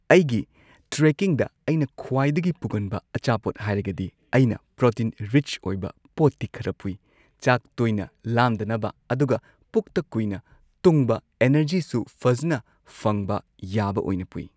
ꯑꯩꯒꯤ ꯇ꯭ꯔꯦꯀꯤꯡꯗ ꯑꯩꯅ ꯈ꯭ꯋꯥꯏꯗꯒꯤ ꯄꯨꯒꯟꯕ ꯑꯆꯥꯄꯣꯠ ꯍꯥꯏꯔꯒꯗꯤ ꯑꯩꯅ ꯄ꯭ꯔꯣꯇꯤꯟ ꯔꯤꯆ ꯑꯣꯏꯕ ꯄꯣꯠꯇꯤ ꯈꯔ ꯄꯨꯏ ꯆꯥꯛ ꯇꯣꯏꯅ ꯂꯥꯝꯗꯅꯕ ꯑꯗꯨꯒ ꯄꯨꯛꯇ ꯀꯨꯏꯅ ꯇꯨꯡꯕ ꯑꯦꯅꯔꯖꯤꯁꯨ ꯐꯖꯅ ꯐꯪꯕ ꯌꯥꯕ ꯑꯣꯏꯅ ꯄꯨꯏ꯫